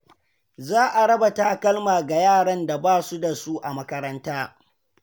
Za a raba takalma ga yaran da ba su da su a makaranta.